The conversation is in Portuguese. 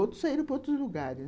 Outros saíram para outros lugares.